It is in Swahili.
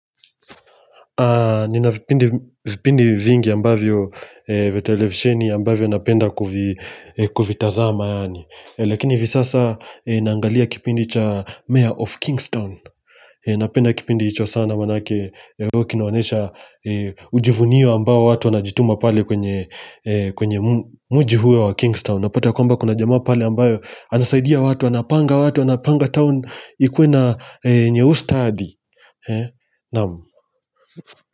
Nina vipindi vingi vya televisheni ambavyo napenda kuvitazama. Lakini hivi sasa naangalia kipindi cha Mayor of Kingston. Napenda kipindi hicho sana maana huonyesha ujivunio ambao watu wanajituma pale kwenye mji huo wa Kingston. Napata kwamba kuna jamaa pale ambaye anasaidia watu, anapanga watu, anapanga town ikue na nyuustadi.